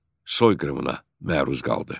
Soyqırımına məruz qaldı.